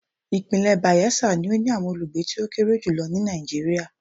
Ìpínlẹ̀ Bayelsa ni ó ní àwọn olùgbé tó kéré jù lọ ní Nàìjíríà.